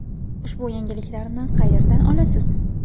Ushbu yangiliklarni qayerdan olasiz?”.